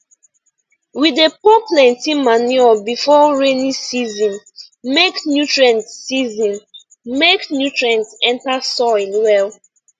we dey pour plenty manure before rainy season make nutrient season make nutrient enter soil well